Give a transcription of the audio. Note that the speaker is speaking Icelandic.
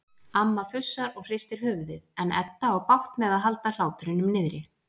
Amma fussar og hristir höfuðið en Edda á bágt með að halda hlátrinum niðri.